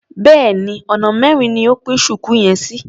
Béèni ọ̀nà mẹ́rin ni o pín ṣùkú yẹn sí.